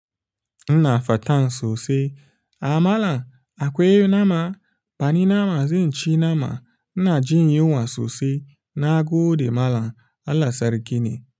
Ina fatan sosai. Amala akwai nama, bani nama zai ci nama. Ina jin yunwa sosai na gode malam Allah sarki ne.